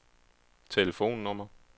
telefonnummer